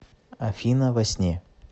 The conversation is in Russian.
афина во сне